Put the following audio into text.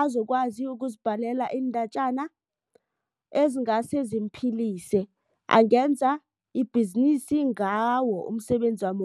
azokwazi ukuzibhalela iindatjana ezingase zimphilise angenza ibhizinisi ngawo umsebenzi wami